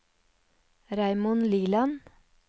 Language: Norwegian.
Raymond Liland